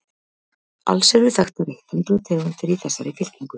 alls eru þekktar eitt hundruð tegundir í þessari fylkingu